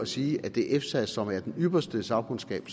sige at det er efsa som er den ypperste sagkundskab